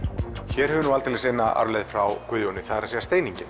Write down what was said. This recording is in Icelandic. hér höfum við aldeilis eina arfleifð frá Guðjóni það er